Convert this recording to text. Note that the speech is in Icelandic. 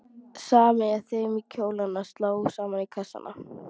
Smeygja þeim í kjólana, slá saman kassana.